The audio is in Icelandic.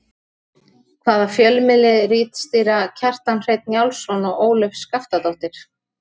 Hvaða fjölmiðli ritstýra Kjartan Hreinn Njálsson og Ólöf Skaftadóttir?